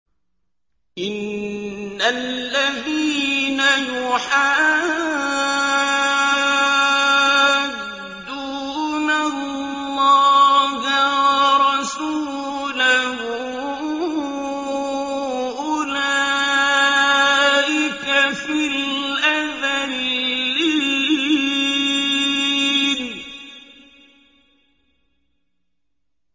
إِنَّ الَّذِينَ يُحَادُّونَ اللَّهَ وَرَسُولَهُ أُولَٰئِكَ فِي الْأَذَلِّينَ